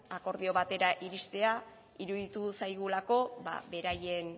akordio batera iristea iruditu zaigulako beraien